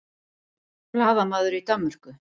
Blaðamaður í Danmörku